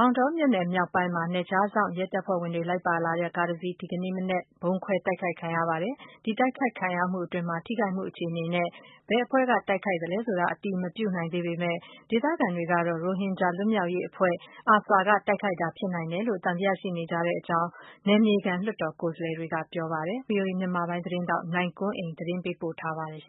မောင်တောမြို့နယ်မြောက်ပိုင်းမှာ နယ်ခြားစောင့်ရဲတပ်ဖွဲ့ဝင်တွေ စီးနင်းလိုက်ပါလာတဲ့ကားတစ်စီး ဒီနေ့မနက်က မိုင်းခွဲ တိုက်ခိုက်ခံရပါတယ်။ ဒီတိုက်ခိုက်ခံရမှုအတွင်း ထိခိုက်မှုအခြေအနေနဲ့ ဘယ်အဖွဲ့ကနေ တိုက်ခိုက်သလဲ ဆိုတာ အတည်မပြုနိုင်သေးပေမဲ့၊ ဒေသခံတွေကတော့ ရိုဟင်ဂျာလွတ်မြောက်ရေး အဖွဲ့ ARSA က တိုက်ခိုက်တာဖြစ်နိုင် တယ် လို့ သံသယရှိနေကြတဲ့အကြောင်း နယ်မြေခံလွှတ်တော် ကိုယ်စားလှယ်တွေက ပြောပါတယ်။ ဗွီအိုအေမြန်မာပိုင်း သတင်းထောက် နိုင်ကွန်းအိန် ကနေသတင်းပေးပို့ထားပါတယ်။